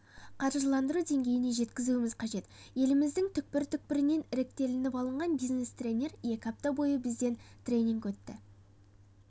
қаржыландыру деңгейіне жеткізуіміз қажет еліміздің түкпір-түкпірінен іріктелініп алған бизнес-тренер екі апта бойы бізден тренинг өтті